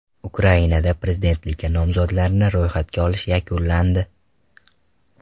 Ukrainada prezidentlikka nomzodlarni ro‘yxatga olish yakunlandi.